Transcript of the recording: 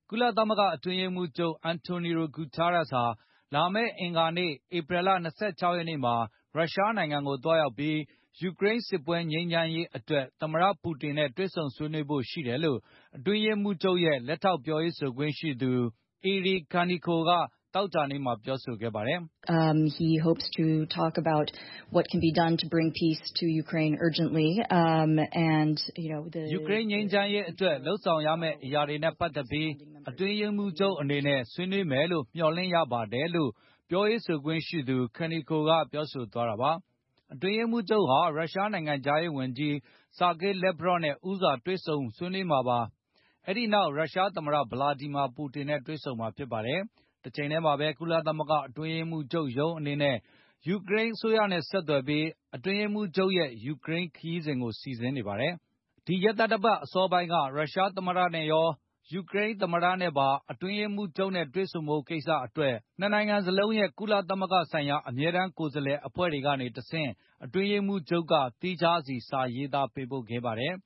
ကုလသမဂ္ဂ အတွင်းရေးမှုးချုပ် Antonio Guterres ဟာ လာမယ့်အင်္ဂါ ဧပြီလ ၂၆ ရက်မှာ ရုရှားနိုင်ငံကို သွားရောက်ပြီး၊ ယူကရိန်းစစ်ပွဲ ငြိမ်းချမ်းရေးအတွက် သမ္မတ ပူတင် နဲ့ တွေ့ဆုံဆွေးနွေးဖို့ ရှိတယ်လို့ အတွင်းရေးမှုချုပ်ရဲ့ လက်ထောက်ပြောရေးဆို ခွင့်ရှိသူ Eri Kaneko က သောကြာနေ့ က ပြောဆိုလိုက်ပါတယ်။ “ယူကရိန်း ငြိမ်းချမ်းရေးအတွက် လုပ်ဆောင်ရမယ့် အရာတွေနဲ့ ပတ်သက်ပြီး အတွင်းရေးမှုးချုပ် အနေနဲ့ ဆွေးနွေးမယ်လို့ မျှော်လင့်ရပါတယ်။” လို့ ပြောရေးဆိုခွင့်ရှိသူ Kaneko ကပြောဆိုသွားတာပါ။ အတွင်းရေးမှူးချုပ် ဟာ ရုရှားနိုင်ငံခြားရေးဝန်ကြီး ဆာဂေးလက်ဗရော နဲ့ ဦးစွာတွေ့ ဆုံဆွေးနွေးမှာပါ၊ အဲဒီနောက် ရုရှားသမ္မတ ဗလာဒီမာပူတင် နဲ့ တွေ့ဆုံမှာဖြစ်ပါတယ်။ တချိန်ထဲမှာ ကုလသမဂ္ဂ အတွင်းရေးမှုးချုပ်ရုံး အနေနဲ့ ယူကရိန်းအစိုးရနဲ့ ဆက်သွယ်ပြီး အတွင်းရေးမှုးချုပ်ရဲ့ ယူကရိန်း ခရီးစဉ်ကို စီစဉ်နေပါတယ်။ ဒီရက်သတ္တပတ် အစောပိုင်းက ရုရှား သမ္မတ နဲ့ရော၊ ယူကရိန်းသမ္မတနဲ့ပါ အတွင်းရေးမှူးချုပ်နဲ့ တွေ့ဆုံဖို့ ကိစ္စတွေအတွက် နှစ်နိုင်ငံစလုံးရဲ့ ကုလသမဂ္ဂဆိုင်ရာ အမြဲတမ်း ကိုယ်စားလှယ်အဖွဲ့တွေ ကနေတဆင့် အတွင်းရေးမှုးချုပ်က သီးခြားစီစာရေးသားပေးပို့ခဲ့ပါတယ်